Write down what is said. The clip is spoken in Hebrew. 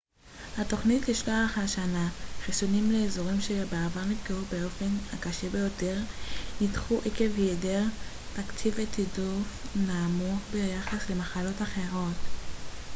התוכניות לשלוח השנה חיסונים לאזורים שבעבר נפגעו באופן הקשה ביותר נדחו עקב היעדר תקציב ותעדוף נמוך ביחס למחלות אחרות